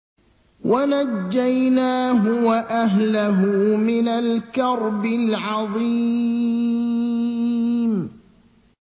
وَنَجَّيْنَاهُ وَأَهْلَهُ مِنَ الْكَرْبِ الْعَظِيمِ